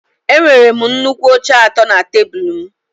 Enwere m nnukwu oche atọ na tebụl m